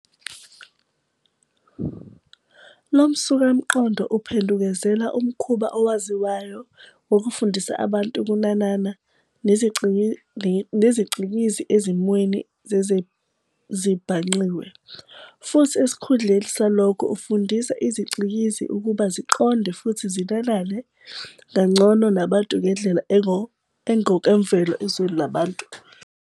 Lo msukamqondo uphendukezela umkhuba owaziwayo wokufundisa abantu ukunanana nezicikizi ezimweni zezezibhangqiwe, futhi esikhundleni salokho ufundisa iziCikizi ukuba ziqonde futhi zinanane kangcono nabantu ngendlela engokwemvelo ezweni labantu.